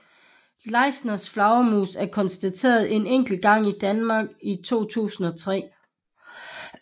Leislers flagermus er konstateret en enkelt gang i Danmark i 2003